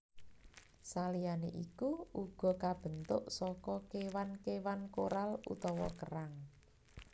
Saliyané iku uga kabentuk saka kéwan kéwan koral utawa kerang